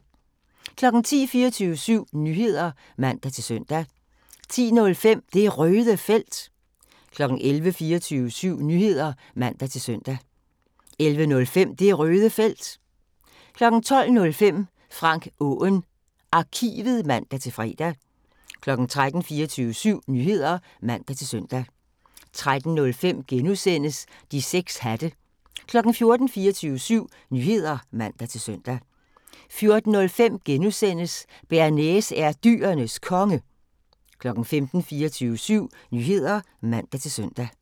10:00: 24syv Nyheder (man-søn) 10:05: Det Røde Felt 11:00: 24syv Nyheder (man-søn) 11:05: Det Røde Felt 12:05: Frank Aaen Arkivet (man-fre) 13:00: 24syv Nyheder (man-søn) 13:05: De 6 Hatte * 14:00: 24syv Nyheder (man-søn) 14:05: Bearnaise er Dyrenes Konge * 15:00: 24syv Nyheder (man-søn)